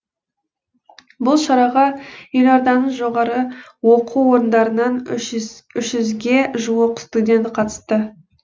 бұл шараға елорданың жоғары оқу орындарынан үш жүзденге жуық студент қатысты